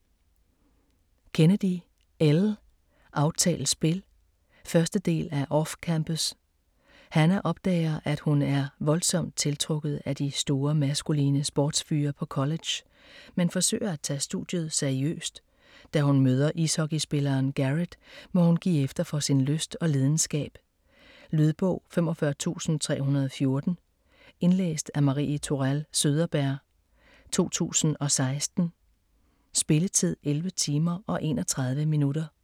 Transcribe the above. Kennedy, Elle: Aftalt spil 1. del af Off-campus. Hannah opdager, at hun er voldsomt tiltrukket af de store, maskuline sportsfyre på college, men forsøger at tage studiet seriøst. Da hun møder ishockeyspilleren Garrett, må hun give efter for sin lyst og lidenskab. Lydbog 45314 Indlæst af Marie Tourell Søderberg, 2016. Spilletid: 11 timer, 31 minutter.